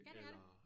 Ja det er det